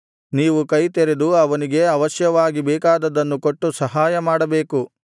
ನೀವು ಕೈತೆರೆದು ಅವನಿಗೆ ಅವಶ್ಯವಾಗಿ ಬೇಕಾದದ್ದನ್ನು ಕೊಟ್ಟು ಸಹಾಯ ಮಾಡಬೇಕು